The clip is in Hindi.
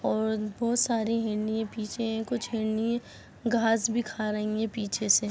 और बहुत सारी हिरनीए पीछे कुछ हिरनीए घास भी खा रही है पीछे से--